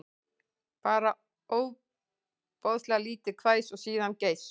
Bara ofboðlítið hvæs og síðan geispi